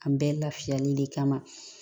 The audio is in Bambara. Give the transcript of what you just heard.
An bɛɛ lafiyali de kama